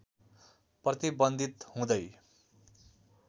प्रतिबन्धित हुँदै